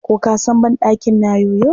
Ko ka san banɗakin na yoyo.